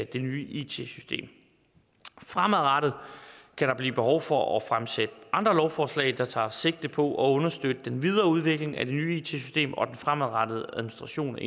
det nye it system fremadrettet kan der blive behov for at fremsætte andre lovforslag der tager sigte på at understøtte den videre udvikling af det nye it system og den fremadrettede administration